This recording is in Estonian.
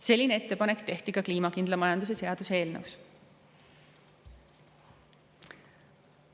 Selline ettepanek tehti ka kliimakindla majanduse seaduse eelnõus.